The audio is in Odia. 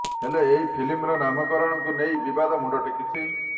ହେଲେ ଏହି ଫିଲ୍ମର ନାମକରଣକୁ ନେଇ ବିବାଦ ମୁଣ୍ଡ ଟେକିଛି